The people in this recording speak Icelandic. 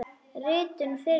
Ritun firma.